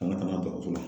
Ka na ka na baro